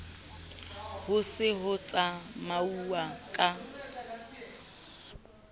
ho se ho tsamauwa ka